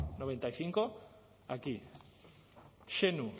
laurogeita hamabost aquí